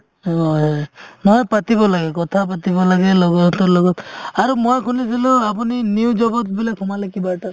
হয়, নহয় পাতিব লাগে কথা পাতিব লাগে লগৰতো লগত আৰু মই শুনিছিলো আপুনি new job বুলে সোমালে কিবা এটা